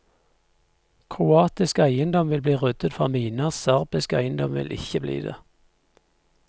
Kroatisk eiendom vil bli ryddet for miner, serbisk eiendom vil ikke bli det.